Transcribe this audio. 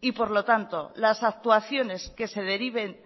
y por lo tanto las actuaciones que se deriven